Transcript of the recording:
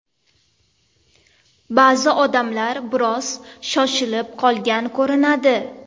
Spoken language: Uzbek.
Ba’zi odamlar biroz shoshilib qolgan ko‘rinadi.